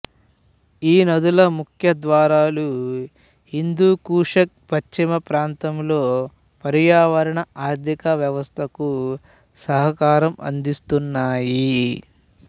ఈ నదుల ముఖద్వారాలు హిందూ కుషుకు పశ్చిమప్రాంతంలో పర్యావరణ ఆర్థిక వ్యవస్థకు సహకారం అందిస్తున్నాయి